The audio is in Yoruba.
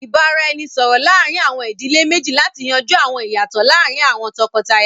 Ìbáraẹnisọ̀rọ̀ láàrin àwọn ìdílé méjì láti yanjú àwọn ìyàtọ̀ láàrín àwọn tọkọtaya